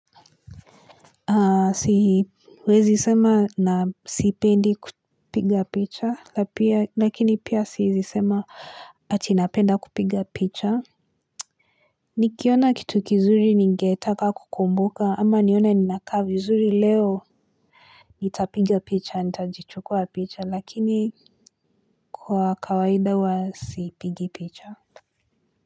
Siwezi sema na sipendi kupiga picha lakini pia siezisema ati napenda kupiga picha Nikiona kitu kizuri ningetaka kukumbuka ama nione ni nakaa vizuri leo nitapiga picha nitajichukua picha lakini kwa kawaida huwa sipigi picha.